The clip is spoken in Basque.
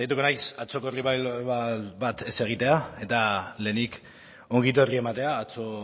saiatuko naiz atzoko revival bat ez egitea eta lehenik ongi etorri ematea